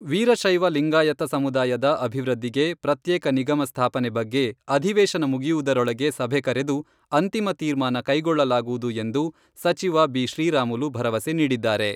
ವೀರಶೈವ ಲಿಂಗಾಯತ ಸಮುದಾಯದ ಅಭಿವೃದ್ಧಿಗೆ ಪ್ರತ್ಯೇಕ ನಿಗಮ ಸ್ಥಾಪನೆ ಬಗ್ಗೆ ಅಧಿವೇಶನ ಮುಗಿಯುವುದರೊಳಗೆ ಸಭೆ ಕರೆದು ಅಂತಿಮ ತೀರ್ಮಾನ ಕೈಗೊಳ್ಳಲಾಗುವುದು ಎಂದು ಸಚಿವ ಬಿ.ಶ್ರೀರಾಮುಲು ಭರವಸೆ ನೀಡಿದ್ದಾರೆ.